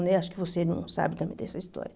Acho que você não sabe também dessa história.